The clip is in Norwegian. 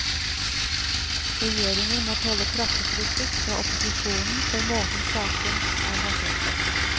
Regjeringen må tåle kraftig kritikk fra opposisjonen for måten saken er håndtert på.